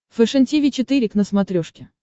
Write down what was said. фэшен тиви четыре к на смотрешке